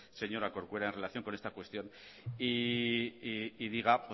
señora corcuera en relación con esta cuestión y diga